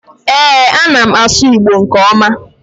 ee, a na m asu igbo nke oma